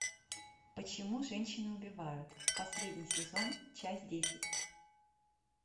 почему женщины убивают последний сезон часть десять